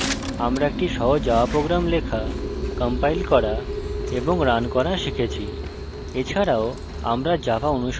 সুতরাং এই tutorial আমরা একটি সহজ java program লেখা compile করা এবং রান করা শিখেছি